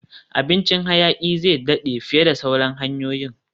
Abincin hayaki zai daɗe fiye da sauran hanyoyin